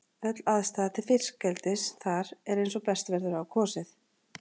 Öll aðstaða til fiskeldis þar er eins og best verður á kosið.